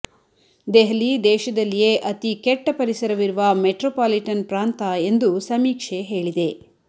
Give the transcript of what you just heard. ದೆಹಲಿ ದೇಶದಲ್ಲಿಯೇ ಅತೀ ಕೆಟ್ಟ ಪರಿಸರವಿರುವ ಮೆಟ್ರೋಪಾಲಿಟನ್ ಪ್ರಾಂತ ಎಂದೂ ಸಮೀಕ್ಷೆ ಹೇಳಿದೆ